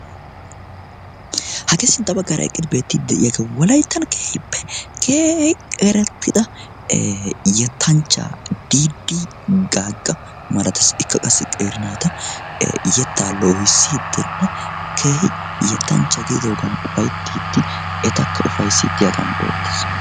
hagee sintta baggara eqidi beettiid de'iyagee walaittan keehippe kehi qerettida yettanchcha diidii gaagga maratassi ikka qassi qeeri naata yettaa loohisiidinne keehi yettanchcha giidoogan ufayttiiddi etakka ufaisiiddiyaagan beettees.